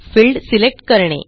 field select करणे